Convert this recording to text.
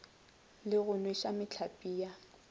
le go nweša mehlape ya